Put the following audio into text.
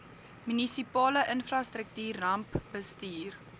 munisipale infrastruktuur rampbestuur